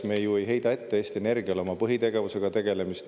Me ju ei heida Eesti Energiale ette tema põhitegevusega tegelemist.